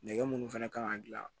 Nɛgɛ munnu fɛnɛ kan ka gilan